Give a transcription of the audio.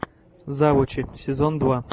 завучи сезон два